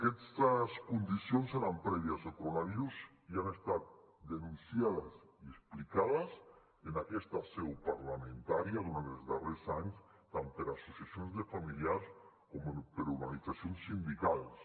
aquestes condicions eren prèvies al coronavirus i han estat denunciades i explicades en aquesta seu parlamentària durant els darrers anys tant per associacions de familiars com per organitzacions sindicals